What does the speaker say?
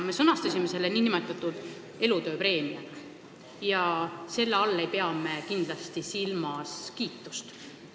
Me nimetasime selle nn elutöö preemiaks ja selle all ei pea me kindlasti silmas kiitust.